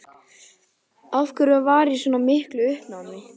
Af hverju hún var í svona miklu uppnámi.